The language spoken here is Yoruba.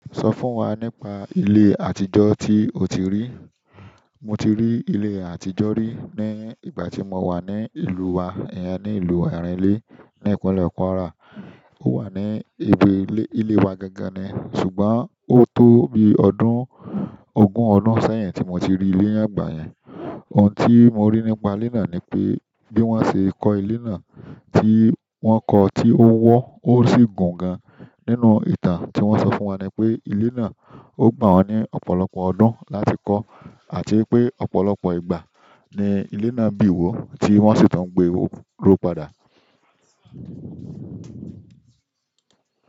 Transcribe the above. Sọ fún wa nípa ilé àtijọ́ tí o ti rí. Mo ti rí ilé àtijọ́ rí ní ìgbà tí mo wà ní ìlú wa, ìyẹn ní ìlú Arelé ní ìpínlẹ̀ Kwara. Ó wà ní ibi ilé wa gangan ni, ṣùgbọ́n ó tó bí ọdún ogún ọ̀dun sẹ́yìn tí mo ti rí ilé náà gbeyin. Ohun tí mo rí nípa ilé náà ni pé bí wọ́n ṣe kó ilé náà tí wọ́n kọ tí ó wọ́ ó sì gùn gan. Nínú ìtàn ti won so fún wa nipe ile náà o gba won ni ọ̀pọ̀lọpọ̀ ọdún láti ko, àti wípé ọ̀pọ̀lọpọ̀ ìgbà ni ile bi wo ti won si tun gbero padà.